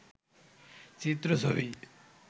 চিএ ছবি